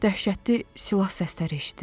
Dəhşətli silah səsləri eşidirəm.